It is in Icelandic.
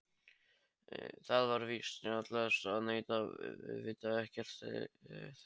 Það er víst snjallast að neita, vita ekkert, þegja.